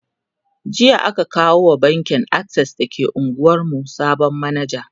jiya aka kawo wa bankin akses da ke unguwan mu sabon manaja